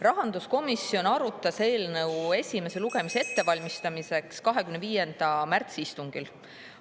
Rahanduskomisjon arutas eelnõu esimese lugemise ettevalmistamiseks 25. märtsi istungil.